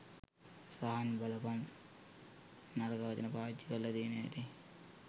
සහන් බලපන් නරක වචන පාවිච්චි කරලා තියන හැටි